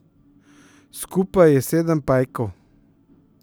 Skupaj je sedem pajkov.